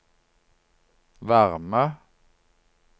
varme